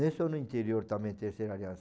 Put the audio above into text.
Nem só no interior também, terceira aliança.